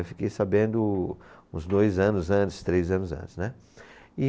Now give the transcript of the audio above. Eu fiquei sabendo uns dois anos antes, três anos antes, né? E